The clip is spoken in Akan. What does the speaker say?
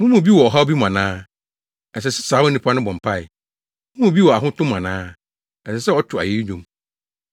Mo mu bi wɔ ɔhaw bi mu ana? Ɛsɛ sɛ saa onipa no bɔ mpae. Mo mu bi wɔ ahotɔ mu ana? Ɛsɛ sɛ ɔto ayeyi nnwom.